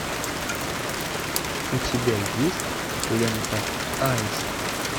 у тебя есть лента аист